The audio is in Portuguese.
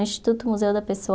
Instituto Museu da Pessoa.